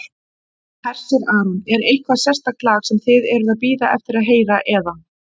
Hersir Aron: Er eitthvað sérstakt lag sem þið eruð að bíða eftir að heyra eða?